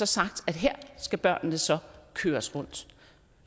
sagt at her skal børnene så køres rundt